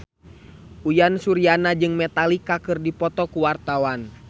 Uyan Suryana jeung Metallica keur dipoto ku wartawan